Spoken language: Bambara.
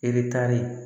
E be taari